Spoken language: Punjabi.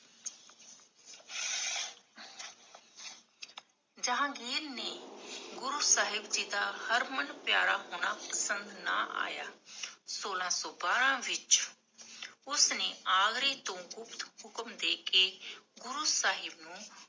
ਜਹਾਂਗੀਰ ਨੇ ਗੁਰੂ ਸਾਹਿਬ ਜੀ ਦਾ ਹਰਮਨਪਿਆਰਾ ਪਸੰਦ ਨਾ ਆਯਾ ਸੋਲਾਂ ਸੋ ਬੜਾ ਵਿਚ ਉਸਨੇ ਆਗਰੇ ਤੋਂ ਹੁਕਮ ਦੇ ਕੇ ਗੁਰੂ ਸਾਹਿਬ ਨੂੰ